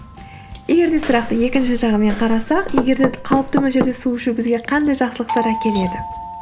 егер де сұрақты екінші жағымен қарасақ егер де қалыпты мөлшерде су ішу бізге қандай жақсылықтар әкеледі